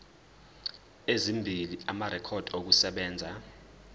ezimbili amarekhodi okusebenza